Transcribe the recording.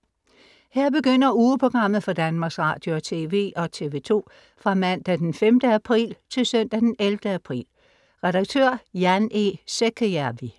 Her begynder ugeprogrammet for Danmarks Radio- og TV og TV2 Fra Mandag den 5. april. Til Søndag den 11. april Red: Jan E. Säkäjärvi